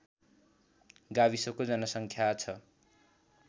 गाविसको जनसङ्ख्या छ